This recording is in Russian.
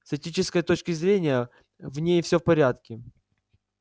с этической точки зрения в ней всё в порядке